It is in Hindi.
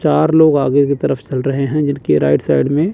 चार लोग आगे की तरफ चल रहे हैं जिनके राइट साइड में--